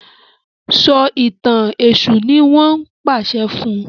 So ìtàn èṣù ní wón pàṣẹ fún.